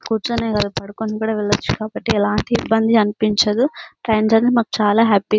కూర్చొనే కాదు పడుకుని కూడా వెళ్లొచ్చు. ఒకటి ఎలాంటి ఇబ్బంది అనిపించదు. ట్రైన్ జర్నీ మాకు చాలా హ్యాపీ .